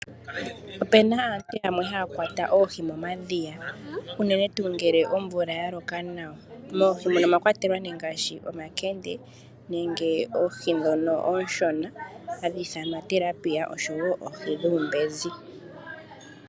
Opuna aantu yamwee haya kwata oohi momadhiya uundjato tuu ngele omvula ya loka nawa, moohi mono omwa kwatelwa nee ngaashi omakende nenge oohi ndhono oonshona hadhi ithanwa tilapia oshowo oohi dhuumbenzi.